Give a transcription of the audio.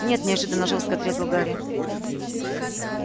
нет неожиданно жёстко отрезал гарри